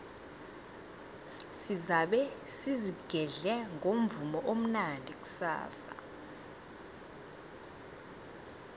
sizabe sizigedle ngomvumo omnandi kusasa